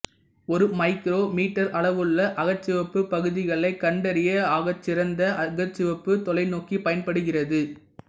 ஒரு micrometre அளவுள்ள அகச்சிவப்பு பகுதிகளை கண்டறியு ஆகச்சிறந்நதாக அகச்சிவப்பு தாெலைநோக்கி பயன்படுகிறது